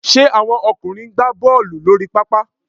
Ṣe àwọn ọkùnrin ń gbá Bọ́ọ̀lù lórí pápá?